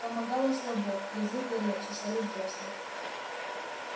помогало слабо язык горел чесались десны